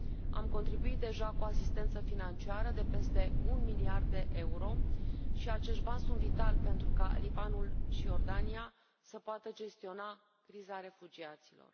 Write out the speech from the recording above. Am contribuit deja cu asistență financiară de peste un miliard de euro și acești bani sunt vitali pentru ca Libanul și Iordania să poată gestiona criza refugiaților.